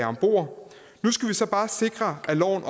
ombord nu skal vi så bare også sikre at loven